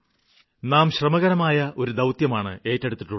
നാം ശ്രമകരമായ ഒരു ദൌത്യമാണ് ഏറ്റെടുത്തിട്ടുള്ളത്